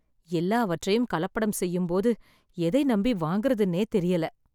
எல்லாவற்றையும் கலப்படம் செய்யும்போது எதை நம்பி வாங்குறதுன்னே தெரியல